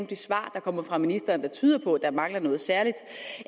de svar der kommer fra ministeren som tyder på at der mangler noget særligt